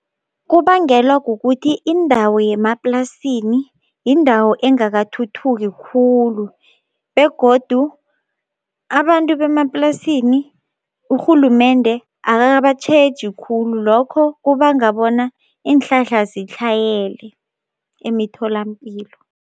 Kubangelwa kukuthi indawo yemaplasini yindawo engakathuthuki khulu begodu abantu bemaplasini urhulumende akabatjheji khulu, lokho kubanga bona iinhlahla sitlhayele emitholampilo.